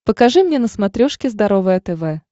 покажи мне на смотрешке здоровое тв